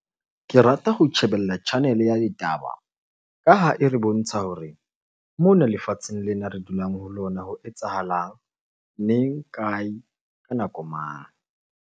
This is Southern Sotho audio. Ke rata ho tjhebella channel-e ya ditaba ka ha e re bontsha hore mona lefatsheng lena re dulang ho lona ho etsahalang? Kae? Ka nako mang?